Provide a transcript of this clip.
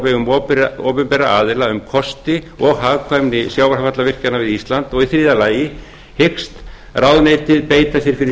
vegum opinberra aðila um kosti og hagkvæmni sjávarfallavirkjana við ísland þriðja hyggst ráðuneytið beita sér fyrir